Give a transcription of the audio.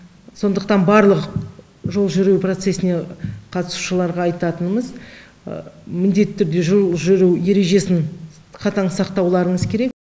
сондықтан барлық жол жүру процесіне қатысушыларға айтатынымыз міндетті түрде жол жүру ережесін қатаң сақтауларыңыз керек